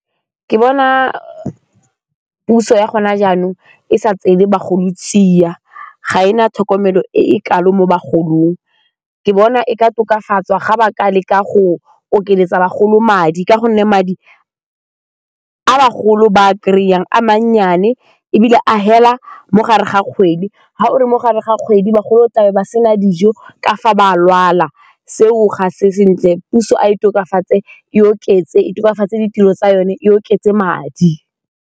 Ke bona puso ya gone jaanong e sa tseele bagolo tsia, ga e na tlhokomelo e e kalo mo bagolong, ke bona e ka tokafatswa ga ba ka leka go okeletsa bagolo madi ka gonne madi a bagolo ba a kry-ang a mannyane ebile a fela mo gare ga kgwedi, ga o le mo gare ga kgwedi bagolo tlabe ba sena dijo ka fa ba a lwala, seo ga se sentle, puso a e tokafatse e oketse, e tokafatsa ditiro tsa yone e oketse madi.